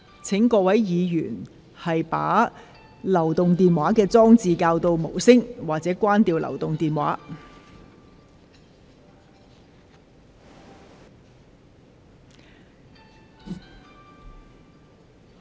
請議員將手提電話調校至靜音模式或關掉手提電話。